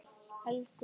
Helgi og Fríða.